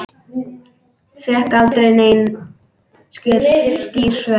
Fékk aldrei nein skýr svör.